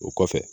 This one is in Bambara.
O kɔfɛ